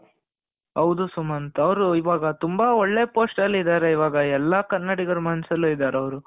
ಹೌದು ಸುಮಂತ್ ಅವರು ಇವಾಗ ತುಂಬಾ ಒಳ್ಳೆ post ಅಲ್ಲಿ ಇದಾರೆ ಎಲ್ಲಾ ಕನ್ನಡಿಗರ ಮನಸ್ಸಿನಲ್ಲಿ ಇದ್ದಾರೆ ಅವರು